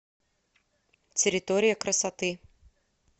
территория красоты